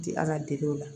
Ti ala dege o la